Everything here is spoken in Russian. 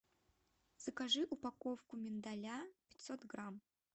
закажи упаковку миндаля пятьсот грамм